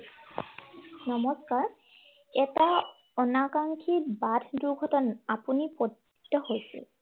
নমস্কাৰ, এটা অনাকাংক্ষিত বাট দূৰ্ঘটনাত আপুনি পতিত হৈছিল।